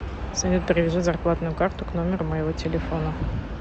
салют привяжи зарплатную карту к номеру моего телефона